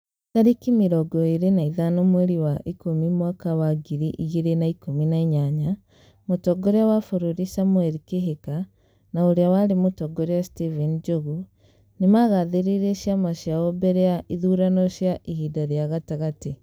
Tarĩki mĩrongo ĩrĩ na ithano mweri wa ikũmi mwaka wa ngiri igĩrĩ na ikũi na inyanya mũongoria wa bũrũri samuel kĩhĩka na urĩa warĩ mũtongoria stephen njogu nĩmagathĩrĩirie ciama ciao mbere ya ithurano cia ihinda rĩa gatagatĩ